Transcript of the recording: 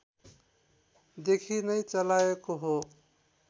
देखि नै चलाएको हो